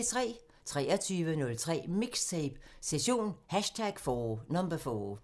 23:03: MIXTAPE – Session #4